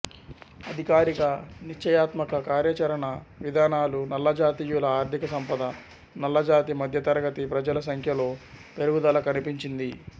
అధికారిక నిశ్చయాత్మక కార్యాచరణ విధానాలు నల్లజాతీయుల ఆర్థిక సంపద నల్లజాతి మధ్యతరగతి ప్రజలసంఖ్యలో పెరుగుదల కనిపించింది